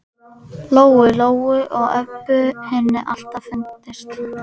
Lóu Lóu og Öbbu hinni alltaf fundist.